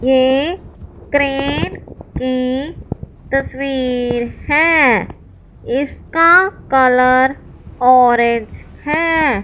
ये क्रेन की तस्वीर है। इसका कलर ऑरेंज है।